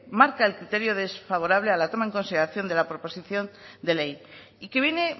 marca el criterio desfavorable a la toma en consideración de la proposición de ley y que viene